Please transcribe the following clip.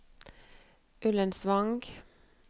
Ullensvang